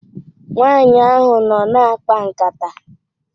Nwanyị ahụ nọ na-akpa nkata.